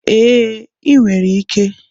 Ee, ị nwere ike.